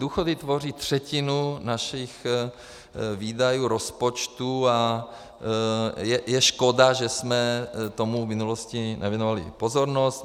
Důchody tvoří třetinu našich výdajů rozpočtu a je škoda, že jsme tomu v minulosti nevěnovali pozornost.